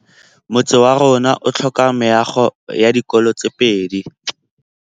Motse warona o tlhoka meago ya dikolô tse pedi.